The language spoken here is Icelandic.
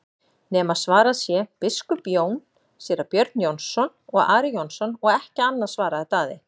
nema svarað sé:-Biskup Jón, Síra Björn Jónsson og Ari Jónsson og ekki annað, svaraði Daði.